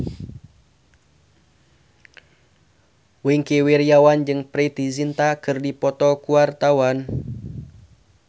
Wingky Wiryawan jeung Preity Zinta keur dipoto ku wartawan